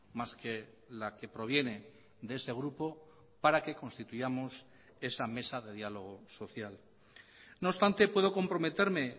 más que la que proviene de ese grupo para que constituyamos esa mesa de diálogo social no obstante puedo comprometerme